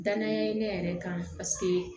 Danaya ye ne yɛrɛ kan paseke